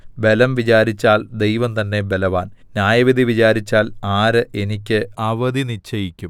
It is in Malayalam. ബലം വിചാരിച്ചാൽ ദൈവം തന്നെ ബലവാൻ ന്യായവിധി വിചാരിച്ചാൽ ആര് എനിയ്ക്ക് അവധി നിശ്ചയിക്കും